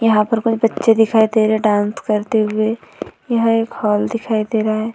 यहाँ पर कोई बच्चे दिखाई दे रहे डांस करते हुए यह एक हॉल दिखाई दे रहा है।